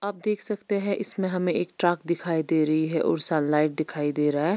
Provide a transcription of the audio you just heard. आप देख सकते है इसमें हमे एक ट्रक दिखाई दे रही है और सनलाइट दिखाई दे रहा है।